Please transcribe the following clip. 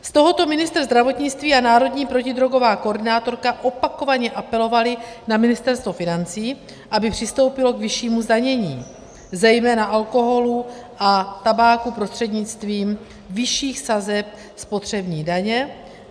Z tohoto ministr zdravotnictví a národní protidrogová koordinátorka opakovaně apelovali na Ministerstvo financí, aby přistoupilo k vyššímu zdanění zejména alkoholu a tabáku prostřednictvím vyšších sazeb spotřební daně.